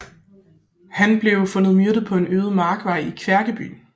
Han blev fundet myrdet på en øde markvej i Kværkeby